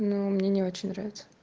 но мне не очень нравится